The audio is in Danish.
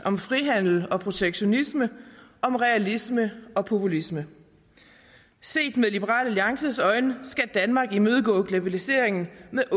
om frihandel og protektionisme om realisme og populisme set med liberal alliances øjne skal danmark imødegå globaliseringen med et